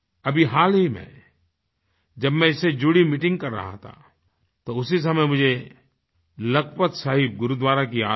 अभी हाल ही में जब मैं इससे जुड़ी मीटिंग कर रहा था तो उसी समय मुझे लखपत साहिब गुरुद्वारा की याद आई